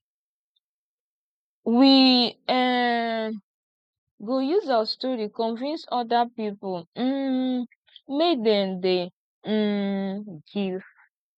we um go use our story convince oda pipo um make dem dey um give